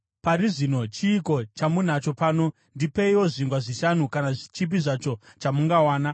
Pari zvino chiiko chamunacho pano? Ndipeiwo zvingwa zvishanu, kana chipi zvacho chamungawana.”